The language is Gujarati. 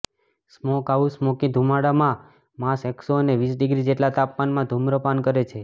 સ્મોકહાઉસ સ્મોકી ધુમાડામાં માંસ એકસો અને વીસ ડિગ્રી જેટલા તાપમાનમાં ધૂમ્રપાન કરે છે